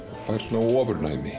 fær